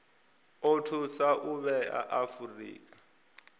o thusa u vhea afurika